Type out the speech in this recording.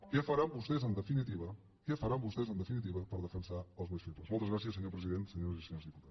què faran vostès en definitiva què faran vostès en definitiva per defensar els més febles moltes gràcies senyor president senyores i senyors diputats